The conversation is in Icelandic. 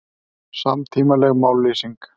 Samtímaleg mállýsing